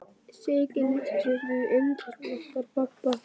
Siggi lítur stundum inn til okkar pabba.